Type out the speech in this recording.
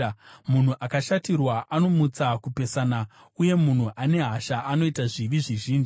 Munhu akashatirwa anomutsa kupesana, uye munhu ane hasha anoita zvivi zvizhinji.